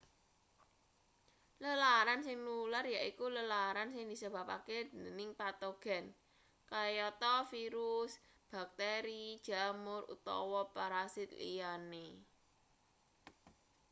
lelaran sing nular yaiku lelaran sing disebabake dening patogen kayata virus bakteri jamur utawa parasit liyane